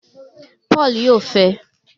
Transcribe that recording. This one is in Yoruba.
Paul yóò fẹe